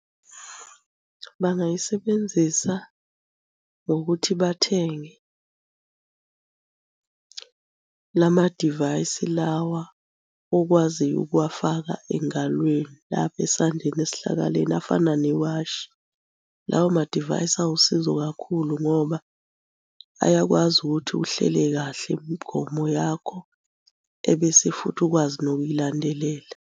Bangayisebenzisa ngokuthi bathenge la madivayisi lawa okwaziyo ukuwafaka engalweni lapha esandleni esihlakaleni afana newashi. Lawo madivayisi awusizo kakhulu ngoba ayakwazi ukuthi uhlele kahle imigomo yakho ebese futhi ukwazi nokuyilandelela.